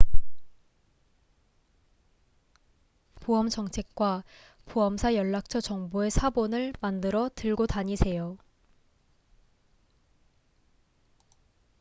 보험 정책과 보험사 연락처 정보의 사본을 만들어 들고 다니세요